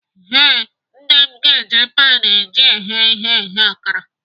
Ee, Nne m ga-eji pan eji eghe ihe eghe akara.